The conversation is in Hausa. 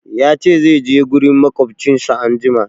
Ya ce zai je gurin maƙwabcinsa anjima.